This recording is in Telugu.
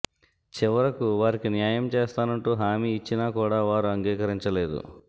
చివరకు వారికి న్యాయం చేస్తానంటూ హామీ ఇచ్చినా కూడా వారు అంగీకరించలేదు